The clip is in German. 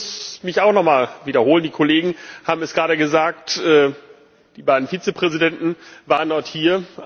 Ich muss mich auch nochmal wiederholen die Kollegen haben es gerade gesagt Die beiden Vizepräsidenten waren heute hier.